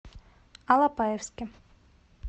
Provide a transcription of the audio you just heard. алапаевске